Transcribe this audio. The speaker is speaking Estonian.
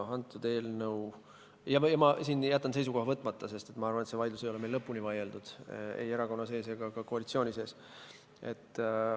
Ma jätan siinkohal seisukoha võtmata, sest ma arvan, et see vaidlus ei ole meil lõpuni vaieldud ei erakonna sees ega ka koalitsiooni sees.